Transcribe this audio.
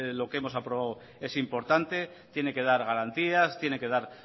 lo que hemos aprobado es importante tiene que dar garantías tiene que dar